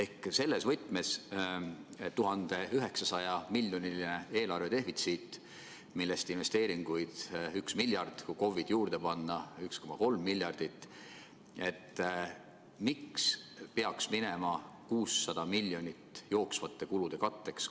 Küsin selles võtmes, et kui meil on 1900 miljoni eurone eelarvedefitsiit, millest investeeringuid on üks miljard – kui KOV-id juurde panna, siis 1,3 miljardit –, siis miks peaks 600 miljonit eurot minema jooksvate kulude katteks?